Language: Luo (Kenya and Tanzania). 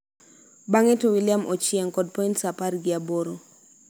bang'e to William Ochieng kod points apar gi aboro